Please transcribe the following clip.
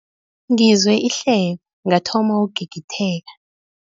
Ngizwe ihleko ngathoma ukugigitheka.